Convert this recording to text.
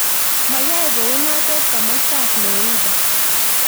Mayae kounotet komastab Florida